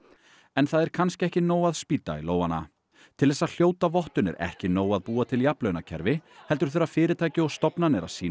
en það er kannski ekki nóg að spýta í lófana til þess að hljóta vottun er ekki nóg að búa til jafnlaunakerfi heldur þurfa fyrirtæki og stofnanir að sýna